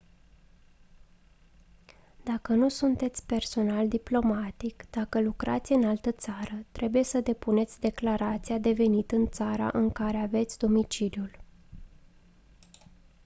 dacă nu sunteți personal diplomatic dacă lucrați în altă țară trebuie să depuneți declarația de venit în țara în care aveți domiciliul